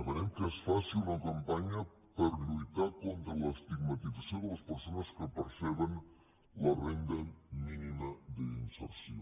demanem que es faci una campanya per lluitar contra l’estigmatització de les persones que perceben la renda mínima d’inserció